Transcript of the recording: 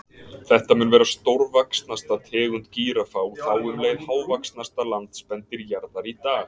Þetta mun vera stórvaxnasta tegund gíraffa og þá um leið hávaxnasta landspendýr jarðar í dag.